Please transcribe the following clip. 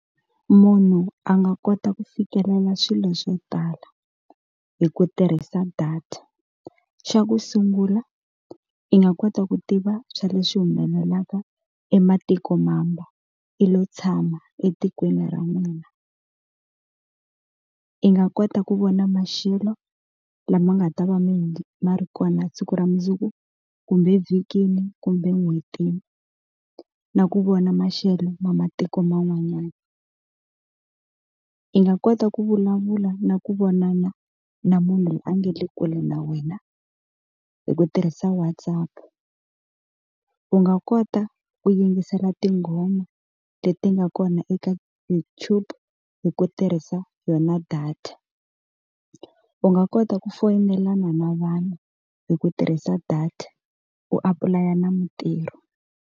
Munhu a nga kota ku fikelela swilo swo tala hi ku tirhisa data. Xa ku sungula i nga kota ku tiva swa leswi humelelaka ematikomambe, i lo tshama etikweni ra n'wina. I nga kota ku vona maxelo lama nga ta va ma ri kona siku ra mundzuku, kumbe vhikini, kumbe n'hwetini, na ku vona maxelo ma matiko man'wanyana. I nga kota ku vulavula na ku vonana na munhu loyi a nga le kule na wena hi ku tirhisa Whatsapp-u. U nga kota ku yingisela tinghoma leti nga kona eka YouTube hi ku tirhisa yona data. U nga kota ku foyinelana na vanhu hi ku tirhisa data, u apulaya na mintirho.